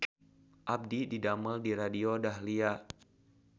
Abdi didamel di Radio Dahlia